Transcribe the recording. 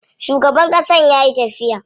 Shugaban ƙasan yayi tafiya.